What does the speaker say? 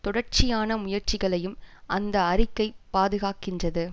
தொடர்ச்சியான முயற்சிகளையும் அந்த அறிக்கை பாதுகாக்கின்றது